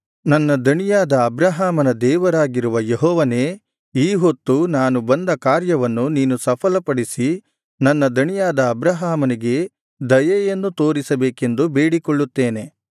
ನನ್ನ ದಣಿಯಾದ ಅಬ್ರಹಾಮನ ದೇವರಾಗಿರುವ ಯೆಹೋವನೇ ಈ ಹೊತ್ತು ನಾನು ಬಂದ ಕಾರ್ಯವನ್ನು ನೀನು ಸಫಲಪಡಿಸಿ ನನ್ನ ದಣಿಯಾದ ಅಬ್ರಹಾಮನಿಗೆ ದಯೆಯನ್ನು ತೋರಿಸಬೇಕೆಂದು ಬೇಡಿಕೊಳ್ಳುತ್ತೇನೆ